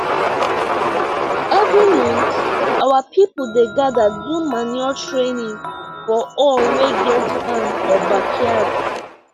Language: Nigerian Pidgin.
every month our people dey gather do manure training for all wey get farm or backyard